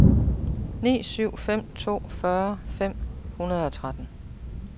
ni syv fem to fyrre fem hundrede og tretten